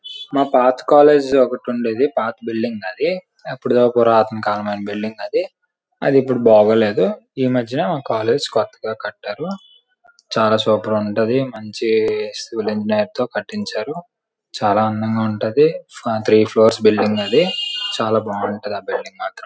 మా పాత కాలేజ్ ఒకటి ఉండేది పాత బిల్డింగ్ అది. ఎప్పుడో పురాతన కాలపు బిల్డింగ్ అది. అది ఇప్పుడు బాగోలేదు ఈ మధ్యనే మా కాలేజ్ కొత్తగా కట్టారు. చాలా సూపర్ ఉంటది. మంచి స్టూడెంట్స్ నేర్తో కట్టించారు. చాలా అందంగా ఉంటది. త్రీ ఫ్లవర్స్ బిల్డింగ్ అది చాలా బాగుంటది బిల్డింగ్ మాత్రం.